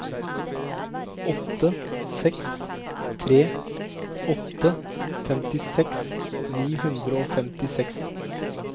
åtte seks tre åtte femtiseks ni hundre og femtiseks